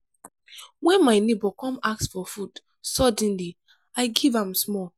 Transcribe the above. wen my nebor come ask for food suddenly i give am small.